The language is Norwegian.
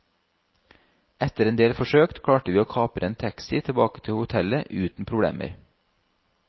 Etter en del forsøk klarte vi å kapre en taxi tilbake til hotellet uten problemer.